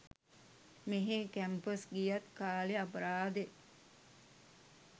මෙහෙ කැම්පස් ගියත් කාලෙ අපරාදෙ.